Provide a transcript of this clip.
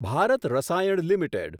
Bharat Rasayan limited